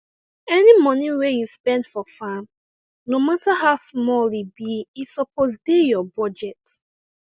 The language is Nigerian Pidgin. any moni wey u spend for farm no matter how small e be e suppose dey ur budget